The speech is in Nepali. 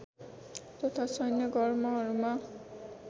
तथा सैन्य गर्महरूमा